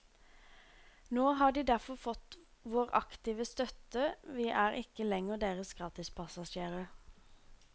Nå har de derfor fått vår aktive støtte, vi er ikke lenger deres gratispassasjerer.